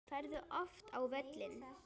Ferðu oft á völlinn?